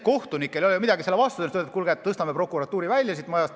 Kohtunikel ei ole midagi selle vastu, et tõstame prokuratuuri sealt majast välja.